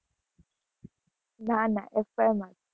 ના ના, F. Y. માં જ,